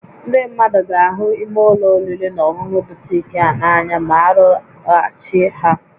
Ndị mmadụ ga-ahụ imé ụlọ oriri na ọṅụṅụ butiik a n'anya ma arụgharịchaa ha